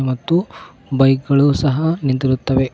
ಮತ್ತು ಬೈಕ್ ಗಳು ಸಹ ನಿಂತಿರುತ್ತವೆ.